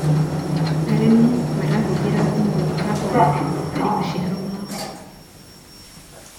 arĩmi marahuthira thumu wa carbon harĩ maciaro mao